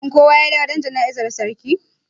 shin kowa ya dawo don jana'izar sarki?